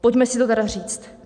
Pojďme si to tedy říct.